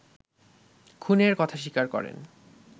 খুনের কথা স্বীকার করেন